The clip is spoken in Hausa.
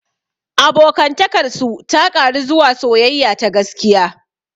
Abokantakar su ta ƙaru zuwa soyayya ta gaskiya.